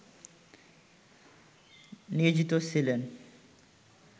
নিয়োজিত ছিলেন